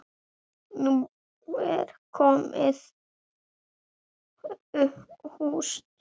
Nú er komið haust.